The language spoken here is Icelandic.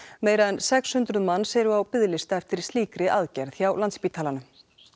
meira en sex hundruð manns eru á biðlista eftir slíkri aðgerð hjá Landspítalanum